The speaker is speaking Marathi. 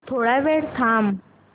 थोडा वेळ थांबव